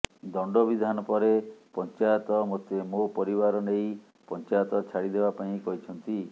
ଦଣ୍ଡବିଧାନ ପରେ ପଞ୍ଚାୟତ ମୋତେ ମୋ ପରିବାର ନେଇ ପଞ୍ଚାୟତ ଛାଡ଼ିଦେବା ପାଇଁ କହିଛନ୍ତି